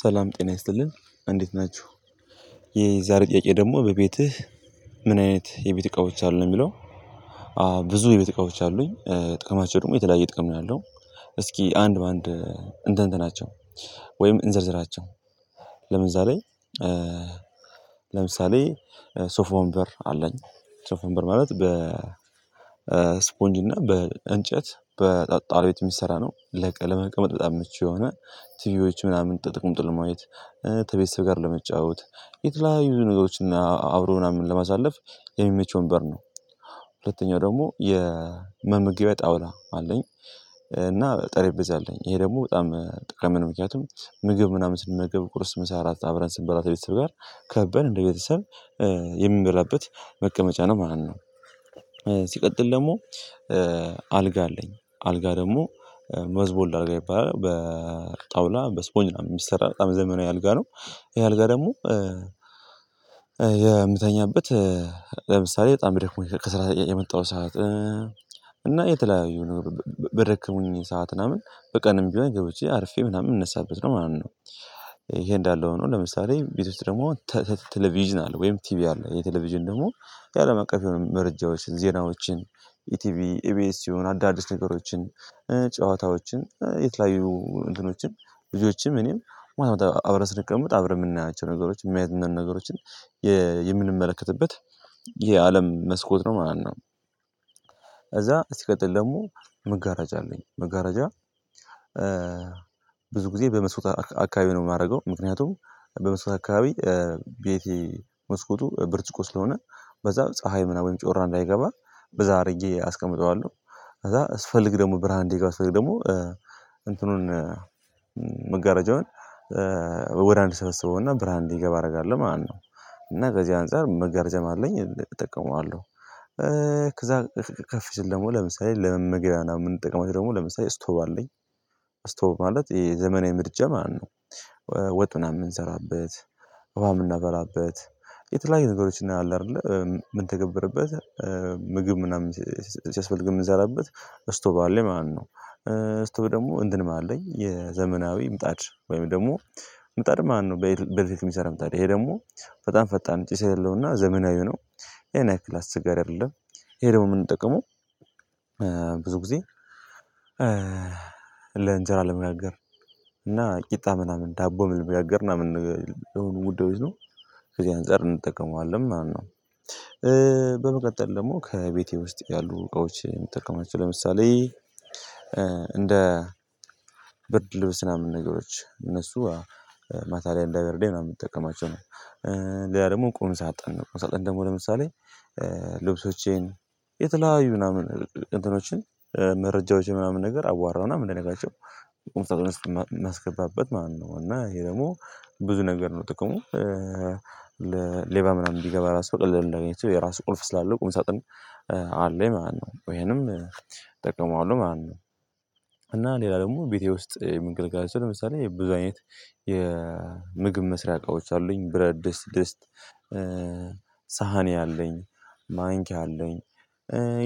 ሰላም ጤና ይስጥልን እንዴት ናችሁ? የዛሬ ጥያቄ ደግሞ በቤትህ ምን አይነት የቤት እቃዎች አሉ ነው የሚለው አዎ ብዙ የቤት እቃዎች አሉኝ ጥቅማቸው ደግሞ የተለያየ ጥቅም ነው ያለው እስኪ አንድ በአንድ እንትንት ናቸው ወይም እንዘርዝራቸው ለምሳሌ ለምሳሌ ሶፎ ወንበር አለኝ ሶፎ ወንበር ማለት በ ስፖንጅ እና በእንጨት በጣጣሪ ቤት የሚሰራ ነው ለቀ ለመቀመጥ በጣም ምቹ የሆነ ቲቪዎች ምናምን ተቀምጦ ለማየት ተቤተሰብ ጋር ለመጫወት የተለያዩ ነገሮችን አብሮ ምናምን ለማሳለፍ የሚመች ወንበር ነው ሁለተኛው ደግሞ የመመገቢያ ጣውላ አለኝ እና ጠረጴዛ አለኝ ይሄ ደግሞ በጣም ጠቃሚ ነው ምክንያቱም ምግብ ምናምን ስንመገብ ቁርስ ምሳ እራት አብረን ስንበላ ተቤተሰብ ጋር ከበን እንደ ቤተሰብ የምንበላበት መቀመጫ ነው ማለት ነው ሲቀጥል ደግሞ አልጋ አለኝ አልጋ ደግሞ መዝቦልድ አልጋ ይባላል በጣውላ በስፖንጅ የሚሰራ በጣም ዘመናዊ አልጋ ነው ይሄ አልጋ ደግሞ የምተኛበት ለምሳሌ በጣም ደክሞኝ ከስራ የመጣሁ ሰዓት እና የተለያዩ ነገር በደከሙኝ ሰዓት ምናምን በቀንም ቢሆን ገብቼ አርፌ ምናምን የምንነሳበት ነው ማለት ነው ይሄ እንዳለ ሆኖ ለምሳሌ ቤት ውስጥ ደግሞ ቴሌቪዥን አለ ወይም ቲቪ አለ የቴሌቪዥን ደግሞ ያለምቀፍ የሆኑ መረጃዎችን ዜናዎችን የቲቪ ኤቢኤስን አዳዲስ ነገሮችን ጨዋታዎችን የተለያዩ እንትኖችን ልጆችም እኔም ማታ አብረን ስንቀምጥ አብረን የምናያቸው ነገሮች የሚያዝናኑን ነገሮችን የምንመለከትበት የአለም መስኮት ነው ማለት ነው ከዛ ሲቀጥል ደግሞ መጋራጅ አለኝ መጋራጃ ብዙ ጊዜ በመስኮት አካባቢ ነው የማደርገው ምክንያቱም በመስኮት አካባቢ ቤቴ መስኮቱ ብርጭቆ ስለሆነ በዛ ፀሀይ ምናምን ጮራ እንዳይገባ በዛ አድርጌ አስቀምጠዋለሁ ከዛ ስፈልግ ደግሞ ብርሃን እንዲገባ ስፈልግ ደግሞ እንትኑን መጋረጃውን ወደ አንድ ሰበሰበውና ብርሃን እንዲገባ አደርጋለሁ ማነው፤ እና በዚህ አንፃር መጋረጃም አለኝ እጠቀመዋለሁ ከዛ ከፍ ሲል ደግሞ ለምሳሌ ለመመገቢያ የምንጠቅመው ደግሞ ለምሳሌ ስቶቭ አለኝ እስቶቭ ማለትይሄ ዘመናዊ ምድጃ ማለት ነው፤ ወጡን ምናምን የምንሰራበት ውሃ የምናፈላበት የተለያዩ ነገሮችን አለ አይደለ ምንተገበርበት ምግብ ምናምን ሲያስፈልግ የምንሰራበት እስቶቭ አለኝ ማለት ነው። እስቶቭ ደግሞ እንትንም አለኝ የዘመናዊ ምጣድ ወይም ደግሞ ምጣድ ማለት ነው በኤሌክትሪክ የሚሰራ ምጣድ ታዲያ ይሄ ደግሞ በጣም ፈጣን ጭስ የለውም እና ዘመናዊው ነው ይሄን ያህክል አስቸጋሪ አይደለም ይሄ ደግሞ የምንጠቀመው ብዙ ጊዜ ለእንጀራ ለመጋገር እና ቂጣ ምናምን ዳቦ ምናምን ለመጋገር ምናምን ነገር ለሆኑ ጉዳዮች ነው ከዚህ አንፃር እንጠቀመዋለን ማለት ነው በመቀጠል ደግሞ ከቤቴ ውስጥ ያሉ እቃዎች የምጠቀማቸው ለምሳሌ እንደ ብርድ ልብስ ምናምን ነገሮች እነሱ ማታ ላይ እንዳይበርደኝ ምናምን የምጠቀማቸው ነው ሌላ ደግሞ ቁም ሳጥን ቁም ሳጥን ነው ቁም ሳጥን ደግሞ ለምሳሌ ልብሶቼን የተለያዩ ምናምን እንትኖችን መረጃዎችን ምናምን ነገር አዋራና የምንደነጋቸው ቁምሳጥን ውስጥ የማስገባበት ማለት ነው እና ይሄ ደግሞ ብዙ ነገር ነው ጥቅሙ ለሌባ ምናምን ቢገባ ራሱ በቀላሉ እንዳያገኛቸው የራሱ ቁልፍ ስላለው ቁም ሳጥን አለኝ ማለት ነው ይሄንም እጠቀመዋለሁ ማለት ነው እና ሌላ ደግሞ ቤቴ ውስጥ ምንገልጋዜ ለምሳሌ የብዙ አይነት የምግብ መስሪያ እቃዎች አሉኝ ብረት ድስት ድስት ሳህኔ አለኝ ማንኪያ አለኝ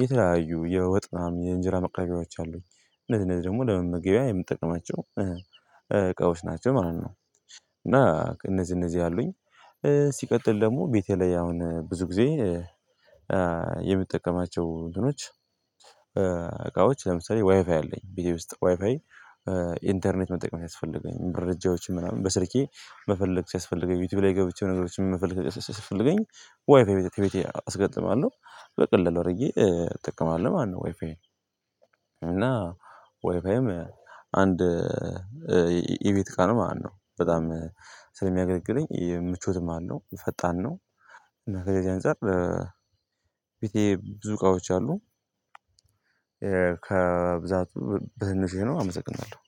የተለያዩ የወጥም የእንጀራ ምናምን የወጥ ማቅረቢያዎች አሉኝ እነዚህ እነዚህ ደግሞ ለመመገቢያ የምጠቅማቸው እቃዎች ናቸው ማለት ነው እና እነዚህ እነዚህ አሉኝ ሲቀጥል ደግሞ ቤቴ ላይ አሁን ብዙ ጊዜ የምጠቀማቸው እንትኖች እቃዎች ለምሳሌ ዋይፋይ አለኝ ቤተሰብ ውስጥ ዋይፋይ ኢንተርኔት መጠቀም ሲያስፈልገኝ መረጃዎችን ምናምን በስልኬ መፈለግ ሲያስፈልገኝ ዩቲዩብ ላይ ገብቸ ነገሮችን መፈለግ ሲያስፈልገኝ ዋይፋይ ከቤቴ አስገጥማለሁ በቀላሉ አድርጌ እጠቀማለሁኝ ማለት ነው ዋይፋይ እና ወይፋይም አንድ የቤት እቃ ነው ማለት ነው በጣም ስለሚያገለግለኝ ምቾትም አለው ፈጣን ነው እና ከዚህ አንፃር ቤቴ ብዙ እቃዎች አሉ ከብዛቱ በህንዜ ነው አመሰግናለሁ